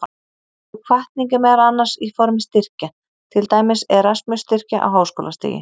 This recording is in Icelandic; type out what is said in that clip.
Sú hvatning er meðal annars í formi styrkja, til dæmis Erasmus-styrkja á háskólastigi.